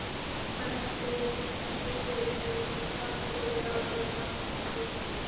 Feldurinn getur verið grár yfir í það að vera ljósbrúnn.